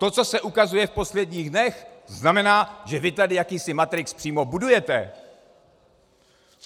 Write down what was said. To, co se ukazuje v posledních dnech, znamená, že vy tady jakýsi matrix přímo budujete.